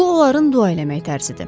Bu onların dua eləmək tərzidir.